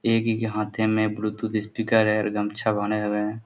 एक ही के हाथे में ब्लूटूथ स्पीकर है और गमछा बने हुए है।